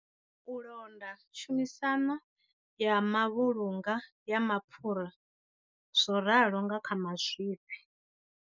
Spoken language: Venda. U londa tshumisano ya mavhulunga ya mapfhura zwo ralo nga kha mazwifhi.